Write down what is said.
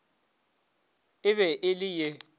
e be e le ye